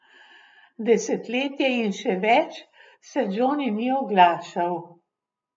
Desetletje in še več se Džoni ni oglašal.